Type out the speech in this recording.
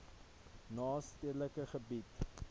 na stedelike gebiede